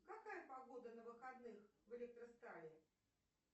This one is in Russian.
какая погода на выходных в электростали